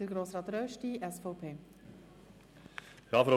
Es spricht Grossrat Rösti, SVP.